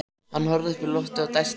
Hann horfði upp í loftið og dæsti.